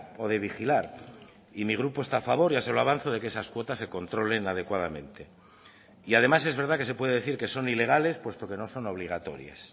o de vigilar y mi grupo está a favor ya se lo avanzó de que esas cuotas se controlen adecuadamente y además es verdad que se puede decir que son ilegales puesto que no son obligatorias